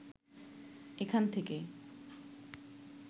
এখান থেকে